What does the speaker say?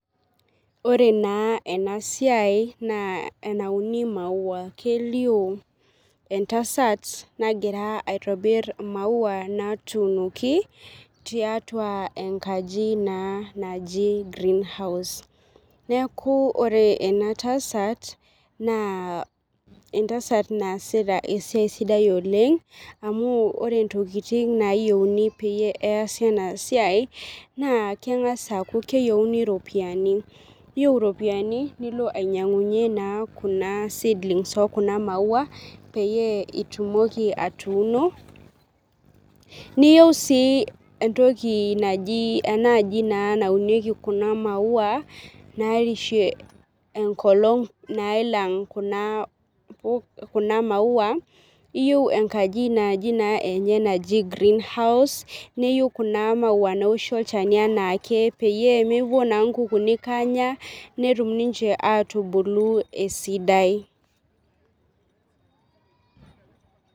Ore naa ena siai naa enauni imaua kelio entasat nagira aitobir imaua natunoki tiatua enkaji naa naaji green house neaku ore ena tasat naa entasat naasita esiai sidai oleng amu ore tokitin nayieuni peyie easi ena siai naa kengas aaku keyieuni ropiyani iyieu iropiyani nilo ainyiangunye kuna seedlings oo kuna imaua peyie itumoki atuuno niyieu sii entoki naaji anaa naunieki kuna imaua narishie ekolong nailang kuna imaua iyieu enkaji enye naji green house neyieu kuna imaua newoshi olchani enaake peyie mepuo naa kukunik awok netum ninche atubulu esidai.